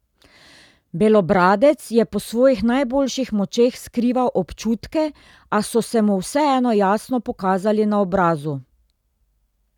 Belobradec je po svojih najboljših močeh skrival občutke, a so se mu vseeno jasno pokazali na obrazu.